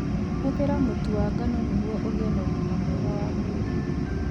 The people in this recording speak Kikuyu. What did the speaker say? Hũthĩra mũtu wa ngano nĩguo ũgĩe na ũgima mwega wa mwĩrĩ.